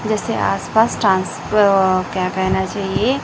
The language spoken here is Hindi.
जैसे आसपास औ क्या कहना चाहिए?